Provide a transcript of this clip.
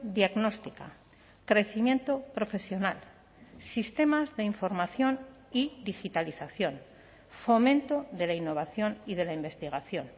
diagnóstica crecimiento profesional sistemas de información y digitalización fomento de la innovación y de la investigación